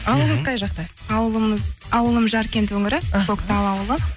ауылыңыз қай жақта ауылымыз ауылым жаркент өңірі іхі көктал ауылы